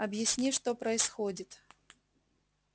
объясни что происходит